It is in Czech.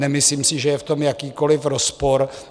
Nemyslím si, že je v tom jakýkoliv rozpor.